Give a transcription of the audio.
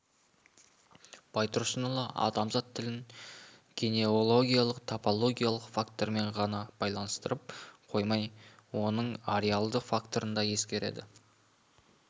байтұрсынұлы адамзат тілін генеологиялық типологиялық фактормен ғана байланыстырып қоймай оның ареалды факторын да ескереді